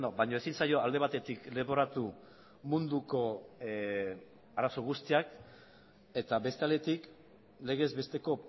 baina ezin zaio alde batetik leporatu munduko arazo guztiak eta beste aldetik legez besteko